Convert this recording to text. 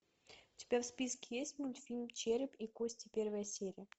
у тебя в списке есть мультфильм череп и кости первая серия